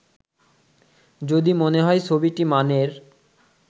যদি মনে হয় ছবিটি মানের